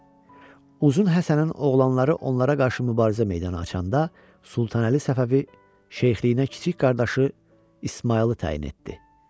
Uzun Həsənin oğlanları onlara qarşı mübarizə meydana açanda Sultanəli Səfəvi şeyxliyinə kiçik qardaşı İsmayılı təyin etdi.